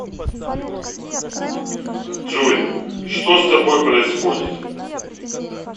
джой что с тобой происходит